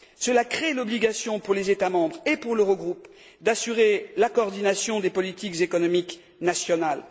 Cela crée l'obligation, pour les États membres et pour l'Eurogroupe, d'assurer la coordination des politiques économiques nationales.